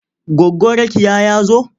Goggo Rakiya ya zo.